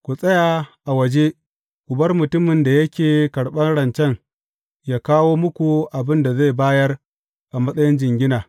Ku tsaya a waje ku bar mutumin da yake karɓan rancen yă kawo muku abin da zai bayar a matsayin jingina.